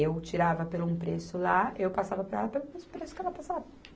Eu tirava pelo um preço lá, eu passava para ela pelo preço que ela passava.